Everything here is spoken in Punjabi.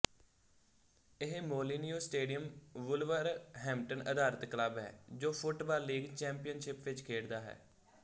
ਇਹ ਮੋਲਿਨੀਉ ਸਟੇਡੀਅਮ ਵੁਲਵਰਹੈਂਪਟਨ ਅਧਾਰਤ ਕਲੱਬ ਹੈ ਜੋ ਫੁੱਟਬਾਲ ਲੀਗ ਚੈਮਪੀਅਨਸ਼ਿਪ ਵਿੱਚ ਖੇਡਦਾ ਹੈ